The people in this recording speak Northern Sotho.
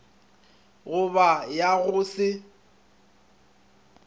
go ba ya go se